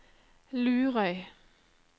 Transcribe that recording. Lurøy